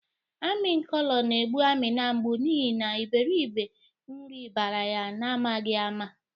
Ami nkolo na-egbụ Amina mgbụ n'ihi na iberibe nri bara ya na-amaghi ama.